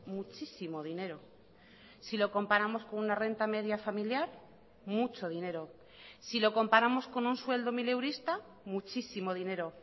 muchísimo dinero si lo comparamos con una renta media familiar mucho dinero si lo comparamos con un sueldo mileurista muchísimo dinero